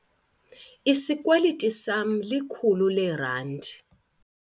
Isikweliti sama likhulu leerandi.